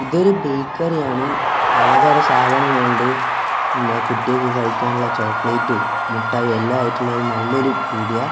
ഇതൊരു ബേയ്ക്കറി ആണ് പലതര സാധനങ്ങളുണ്ട് എന്നാ കുട്ടികൾക്ക് കഴിക്കാനുള്ള ചോക്ലേറ്റും മുട്ടായിയും എല്ലാം ആയിട്ടുള്ള ഒരു നല്ല ഒരു പീടിയ.